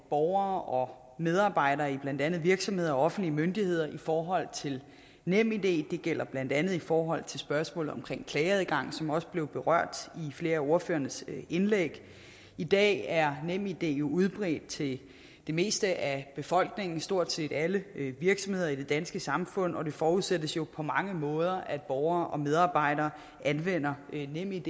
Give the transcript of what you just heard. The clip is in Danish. borgere og medarbejdere i blandt andet virksomheder og offentlige myndigheder i forhold til nemid det gælder blandt andet i forhold til spørgsmålet om klageadgang som også blev berørt i flere af ordførernes indlæg i dag er nemid jo udbredt til det meste af befolkningen og stort set alle virksomheder i det danske samfund og det forudsættes jo på mange måder at borgere og medarbejdere anvender nemid